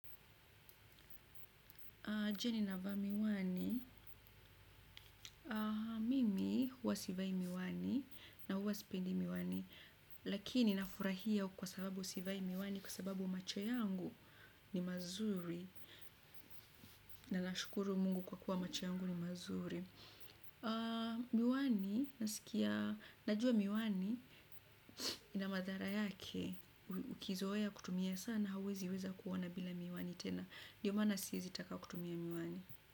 Jioni na vaa miwani, mimi huwa sivai miwani na huwa sipendi miwani. Lakini na furahia kwa sababu sivai miwani kwa sababu machoyangu ni mazuri. Na nashukuru mungu kwa kuwa machoyangu ni mazuri. Miwani, na sikia, na jua miwani, ina madhara yake, ukizoeya kutumia sana, hauwezi weza kuona bila miwani tena. Ndiomaana siezitaka kutumia miwani.